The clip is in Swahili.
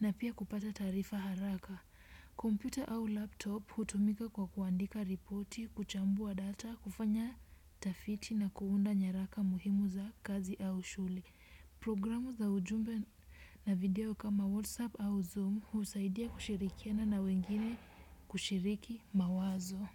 na pia kupata taarifa haraka. Computer au laptop hutumika kwa kuandika ripoti, kuchambua data, kufanya tafiti na kuunda nyaraka muhimu za kazi au shule. Programu za ujumbe na video kama WhatsApp au Zoom husaidia kushirikiana na wengine kushiriki mawazo.